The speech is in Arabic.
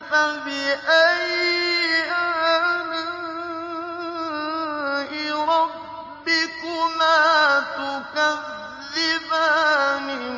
فَبِأَيِّ آلَاءِ رَبِّكُمَا تُكَذِّبَانِ